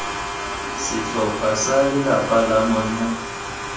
setlhopha sa lelapa la monna